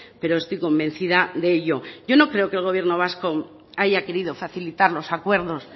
pero estoy convencida de ello yo no creo que el gobierno vasco haya querido facilitar los acuerdos